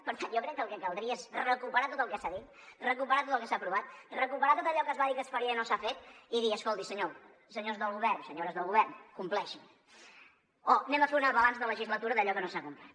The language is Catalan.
per tant jo crec que el que caldria és recuperar tot el que s’ha dit recuperar tot el que s’ha aprovat recuperar tot allò que es va dir que es faria i no s’ha fet i dir escoltin senyors del govern senyores del govern compleixin o fem un balanç de legislatura d’allò que no s’ha complert